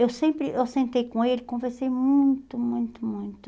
Eu sempre, eu sentei com ele, conversei muito, muito, muito.